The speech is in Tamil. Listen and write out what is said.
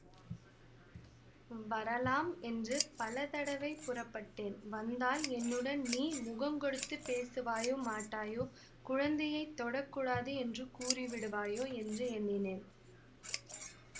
வரலாம் என்று பலதடவை புறப்பட்டேன் வந்தால் என்னுடன் நீ முகங்கொடுத்துப் பேசுவாயோ மாட்டாயோ குழந்தையைத் தொடக்கூடாது என்று கூறி விடுவாயோ என்று எண்ணினேன்